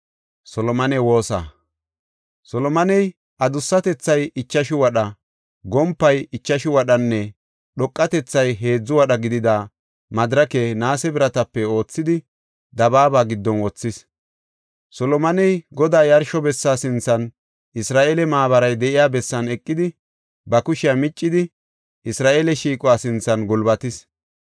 Solomoney adussatethay ichashu wadha, gompay ichashu wadhanne dhoqatethat heedzu wadha gidida madirake naase biratape oothidi dabaaba giddon wothis. Solomoney Godaa yarsho bessa sinthan, Isra7eele maabaray de7iya bessan eqidi, ba kushiya miccidi Isra7eele shiiquwa sinthan gulbatis.